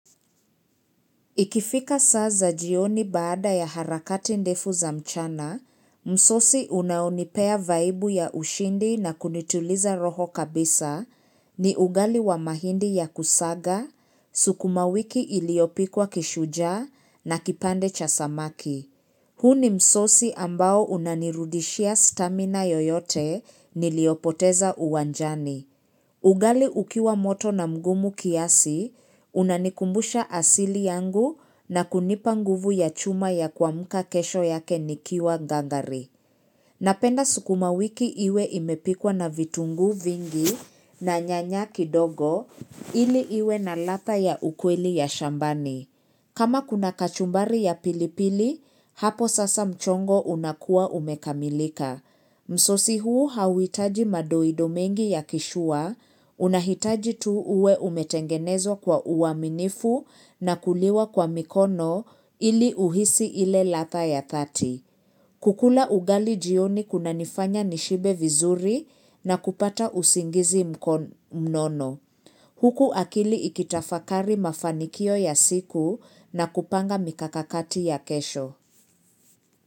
Ikifika saa za jioni baada ya harakati ndefu za mchana, msosi unaonipea vaibu ya ushindi na kunituliza roho kabisa ni ugali wa mahindi ya kusaga, sukuma wiki iliopikwa kishujaa na kipande cha samaki. Huu ni msosi ambao unanirudishia stamina yoyote niliyopoteza uwanjani. Ugali ukiwa moto na mgumu kiasi, unanikumbusha asili yangu na kunipa nguvu ya chuma ya kuamka kesho yake nikiwa gangari. Napenda sukuma wiki iwe imepikwa na vitungu vingi na nyanya kidogo ili iwe na ladha ya ukweli ya shambani. Kama kuna kachumbari ya pilipili, hapo sasa mchongo unakuwa umekamilika. Msosi huu hauhitaji madoido mengi ya kishua, unahitaji tu uwe umetengenezwa kwa uaminifu na kuliwa kwa mikono ili uhisi ile ladha ya thati. Kukula ugali jioni kuna nifanya nishibe vizuri na kupata usingizi mnono. Huku akili ikitafakari mafanikio ya siku na kupanga mikakakati ya kesho.